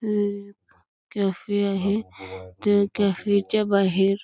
एक कॅफे आहे त्या कॅफे च्या बाहेर --